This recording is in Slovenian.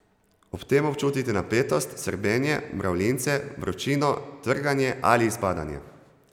Ob tem občutite napetost, srbenje, mravljince, vročino, trganje ali zbadanje.